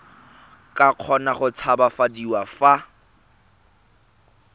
ka kgona go tshabafadiwa fa